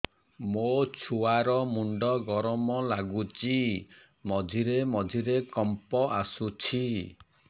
ମୋ ଛୁଆ ର ମୁଣ୍ଡ ଗରମ ଲାଗୁଚି ମଝିରେ ମଝିରେ କମ୍ପ ଆସୁଛି